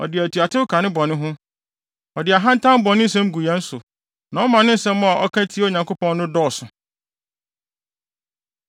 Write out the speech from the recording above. Ɔde atuatew ka ne bɔne ho; ɔde ahantan bɔ ne nsam gu yɛn so na ɔma ne nsɛm a ɔka tia Onyankopɔn no dɔɔso.”